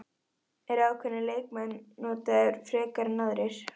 Eru ákveðnir leikmenn notaðir frekar en aðrir?